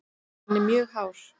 Hann er mjög hár.